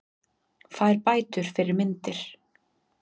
Fær bætur fyrir myndir